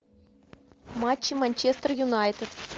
матчи манчестер юнайтед